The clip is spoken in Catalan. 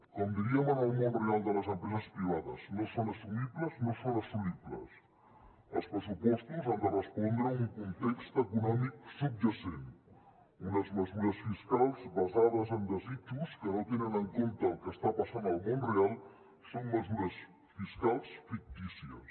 com diríem en el món real de les empreses privades no són assumibles no són assolibles els pressupostos han de respondre a un context econòmic subjacent unes mesures fiscals basades en desitjos que no tenen en compte el que està passant al món real són mesures fiscals fictícies